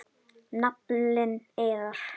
Naflinn iðar.